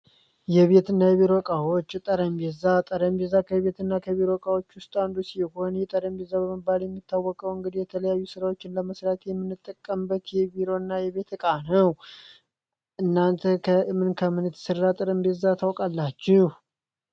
የቤት እና የብሮቃዎች ጠረንቤዛ ጠረምቪዛ ከቤት እና ከብሮቃዎች ውስጣ አንዱ ሲሆኔ የጠረንቢ ዘበምባለ የሚታወቀው እንግዲ የተለያዩ ሥራዎችን ለመስራት የሚንጠቀንበት የቪሮ እና የቤት ቃነው እናንተ ከእምን ከምንት ሥራ ጠረንቢዛ ታውቃላችሁ፡፡